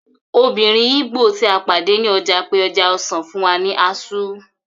Obìnrin ìgbò tí a pàdé ní ọjà pe ẹja-ọsàn fún wa ní azu